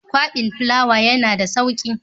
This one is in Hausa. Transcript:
Gwabin fulawa yana da sauki.